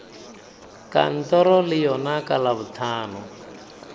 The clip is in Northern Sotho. kantoro le yona ka labohlano